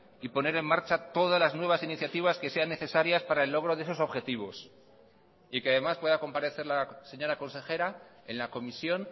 y poner en marcha todas las nuevas iniciativas que sean necesarias para el logro de esos objetivos y que además pueda comparecer la señora consejera en la comisión